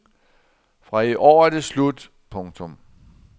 Fra i år er det slut. punktum